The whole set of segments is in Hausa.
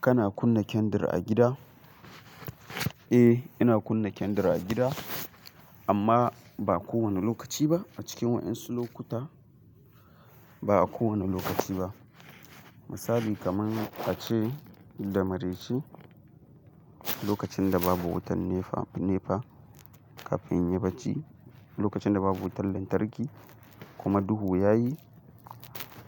Kana kunna kendar a gida? Eh, ina kunna kendar a gida amma, ba kowane lokaci ba. A cikin wa'insu lokuta, ba kowane lokaci ba. Misali kaman a ce da mareci, lokacin da babu wutan Nepa, Nepa, kafin in yi barci, lokacin da babu wutan lantarki, kuma duhu yayi,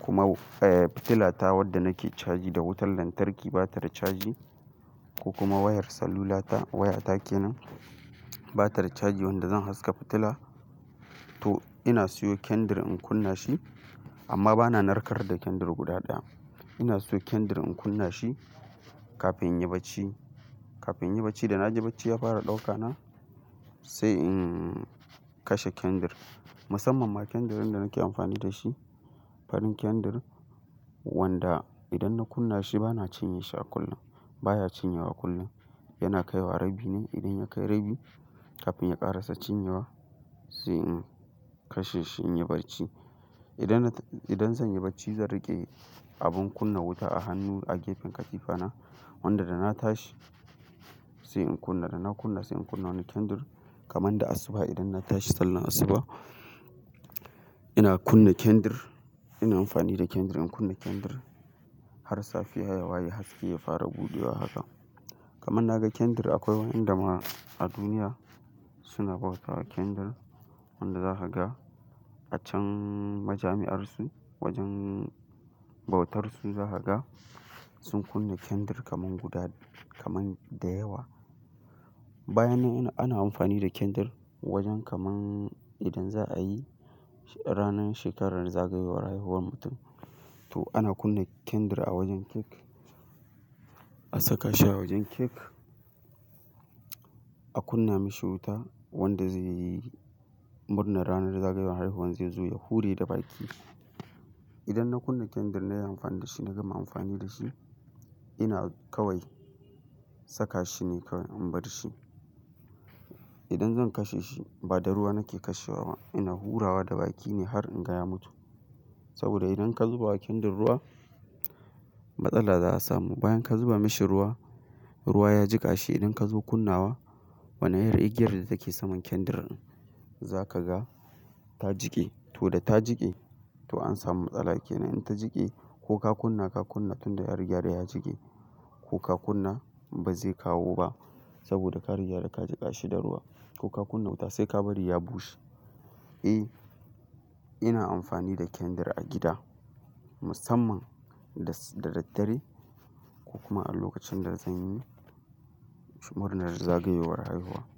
kuma fitilata wanda nake caji da wutar lantarki bata da caji, kuma wayar celulata wato wayata kenan. Bata da caji wanda zan haska fitila. Toh, inna siyo kendar in kunna shi, ama bana narkar da kendar guda daya. Inna siyo kenar in kunna shi, kafin in yi barci. Kafin in yi barci, dana ji barci ya fara dauka na, sai in kashe kendar. Musamman ma kendar din da nake amfani da shi farin kendar, wanda, indan na kunna shi bana cinye shi a kullum baya cinyewa a kullum, yana kai wa a rabbi ne inda ya kai rabbi, kafin ya karasa cinyewa, sai in kasheshi in yi barci. Indan na, indan zanyi barci zan rike abun kunna wuta a hannu, a gefen katifa na wanda dana tashi sai in kunna ranna kunna sai in kunna wani kendar. Kaman da asuba, indan na tashi Sallah asuba. Inna kunna kendar, inna amfani da kendar in kunna kendar, har safeya ya waye haske ya fara budewa hakan. Kamar na gan kendar akwai wa inda ma a duniya suna bautawa kendar wanda za ka ga, a can majami'ar su, wajen bautarsu za ka ga, sun kunna kendar kamar guda kamar da yawwa. Bayan na wannan ana amfani da kendar, wajen kaman idan za'ayi, a ranar shekara zageyowa ranar aihuwar mutum. To ana kunna kendar a wajen cake. A saka shi a wajen cake. A kunna mishi wuta, wanda zai yi murnar ranar zageyowa aihuwan zai zo ya hurre da baki. Inda na kunna kendar nayi amfani da shi, na gama amfani da shi, ina kawai, saka shine kawai in barshi. Idan zan kasheshi ba da ruwa nake kashewa ba, ina hurrawa da baki ne har in ga ya mutu. Saboda idan ka zubakin da ruwa matsala za a samu. Bayan ka zuba mashi ruwa, ruwa ya jiƙa shi idan ka zo kunnawa wane irin igiyar da ta ke samar kendar za ka ga ya jike. Toh da ta jike, toh an samu matsala kenan, in ta jike ko ka kunna ka kunna tun ya riga ya jike ko ka kunna ba zai kawo ba, saboda ka riga nan ka jikashi da ruwa. Ko ka kunna wuta sai ka bari ya bushe. Eh, ina amfani da kendar a gida musamman da, da daddare ko kuma a lokacin da zan yi murnar zagayowar haihuwa.